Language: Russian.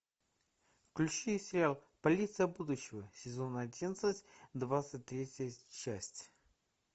включи сериал полиция будущего сезон одиннадцать двадцать третья часть